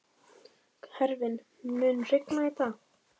Hervin, mun rigna í dag?